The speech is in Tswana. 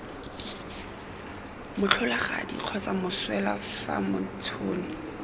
motlholagadi kgotsa moswelwa fa motšhoni